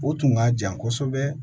O tun ka jan kosɛbɛ